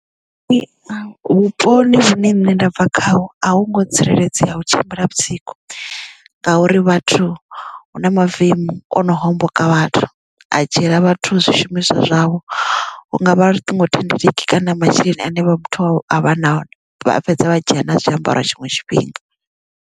Vhuponi hune nṋe nda bva khaho a hu ngo tsireledzea u tshimbila musiku ngauri vhathu hu na mavemu ono homboka vhathu a dzhiela vhathu zwishumiswa zwavho hungavha luṱingo thendeleki kana masheleni ane vhathu nao a vha fhedza vha dzhia na zwiambaro tshiṅwe tshifhinga.